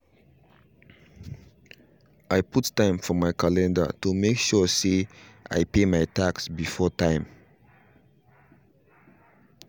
i put time for my calendar to make sure say i pay my tax before time